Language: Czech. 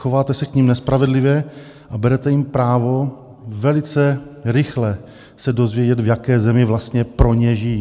Chováte se k nim nespravedlivě a berete jim právo velice rychle se dozvědět, v jaké zemi vlastně pro ně žijí.